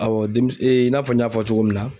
denmi i n'a fɔ n y'a fɔ cogo min na.